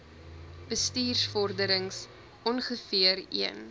bestuursvorderings ongeveer een